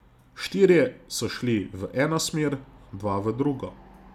Štirje so šli v eno smer, dva v drugo.